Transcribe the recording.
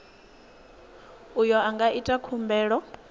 uyo a nga ita khumbelo